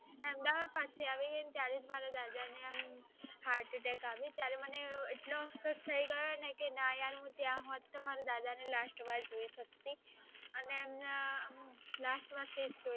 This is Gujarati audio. એમને heartattack આવ્યો ત્યારે મને એટલો અફસોસ થય ગયો ને કે ના કે હું ત્યાં હોત તો મારા દાદા ને last વાર જોઈ શકત